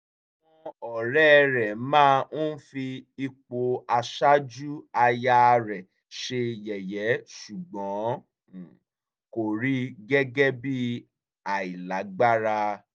àwọn ọ̀rẹ́ rẹ̀ máa ń fi ipò aṣáájú aya rẹ̀ ṣe yẹ̀yẹ́ ṣùgbọ́n kò rí i gẹ́gẹ́ bí àìlágbára